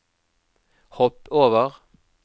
hopp over